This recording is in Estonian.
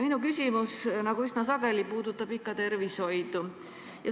Minu küsimus, nagu üsna sageli, puudutab ikka tervishoidu.